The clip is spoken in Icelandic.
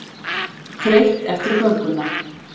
Þreytt eftir gönguna.